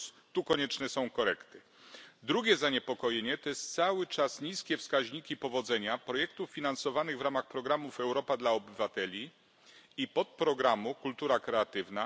Tu konieczne są korekty. Drugie zaniepokojenie to są cały czas niskie wskaźniki powodzenia projektów finansowanych w ramach programów Europa dla obywateli i podprogramu Kultura kreatywna.